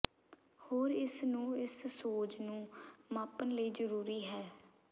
ਹੋਰ ਇਸ ਨੂੰ ਇਸ ਸੋਜ ਨੂੰ ਮਾਪਣ ਲਈ ਜ਼ਰੂਰੀ ਹੈ